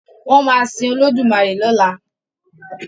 wón má sin Olódùmarè lọla.